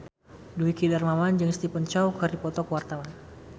Dwiki Darmawan jeung Stephen Chow keur dipoto ku wartawan